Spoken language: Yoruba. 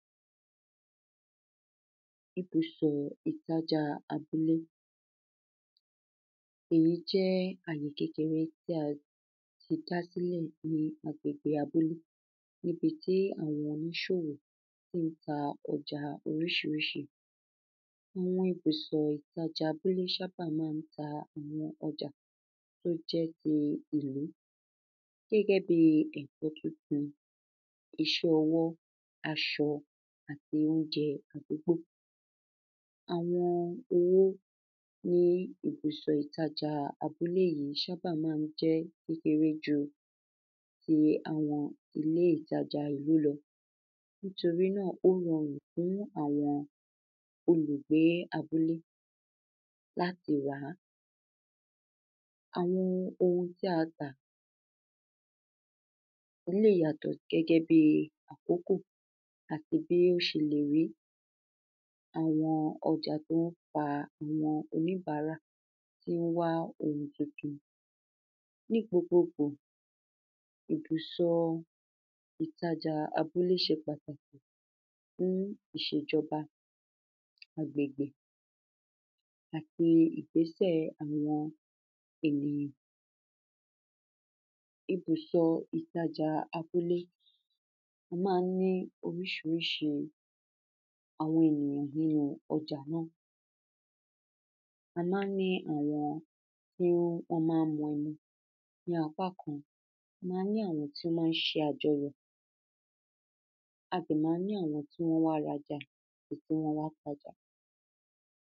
ibùsọ̀ ìtajàa abúlé. èyí jẹ́ àyè kékeré tí a ti dá sílẹ̀ ní agbègbè abúlé níbití àwọn oníṣòwò tín ta ọjà oríṣiríṣi. àwọn ibùsọ̀ ìtajà abúlé ṣábà mán ta àwọn ọjà tó jẹ́ ti ìlú. gẹ́gẹ́ bi ẹ̀kọ́ tuntun, iṣẹ́-ọwọ́, aṣọ, àti óunjẹ àdúgbò. àwọn owó ní ibùsọ̀ ìtajàa abúlé yìí ṣábà mán jẹ́ kékeré ju ti àwọn ibùsọ̀ ìtajàa ìlú lọ. nítorí náà ó rọrùn fún àwọn olùgbé abúlé láti rà á. àwọn ohun tí a tà lè yàtọ̀ gẹ́gẹ́ bi àkókò àti bí ó ṣe lè rí, àwọn ọjà tón fa àwọn oníbárà tín wá ohun tuntun. ní gbogbogbo, ibùsọ ìtajà abúlé ṣe pàtàkì ní iṣèjọba agbègbè, àti ìgbésẹ̀ àwọn ènìyàn. ibùsọ ìtajàa abúlé, a mán ní oríṣiríṣi àwọn ènìyàn nínu ọjà náà. a mán ní àwọn tí wọ́n ma ń mu ẹmu ní apá kan, a mán ní àwọn tí ṣe àjọyọ̀, a sì mán ní àwọn tí wọ́n wá rajà àti tí wọ́n wá tajà.